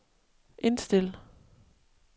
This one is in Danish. indstil